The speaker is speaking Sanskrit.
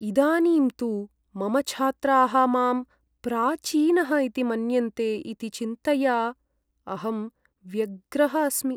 इदानीं तु, मम छात्राः मां प्राचीनः इति मन्यन्ते इति चिन्तया अहं व्यग्रः अस्मि।